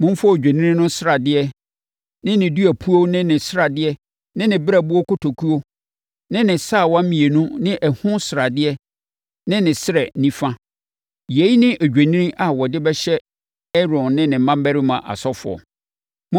“Momfa odwennini no sradeɛ ne ne duapuo ne ne mu sradeɛ ne ne berɛboɔ kotokuo ne ne sawa mmienu ne ɛho sradeɛ ne ne srɛ nifa—yei ne odwennini a wɔde bɛhyɛ Aaron ne ne mmammarima asɔfoɔ.